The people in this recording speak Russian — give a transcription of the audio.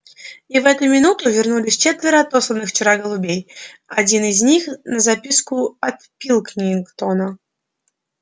и в эту минуту вернулись четверо отосланных вчера голубей один из них на записку от пилкингтона